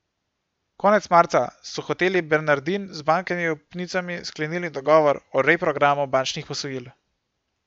Konec marca so Hoteli Bernardin z bankami upnicami sklenili dogovor o reprogramu bančnih posojil.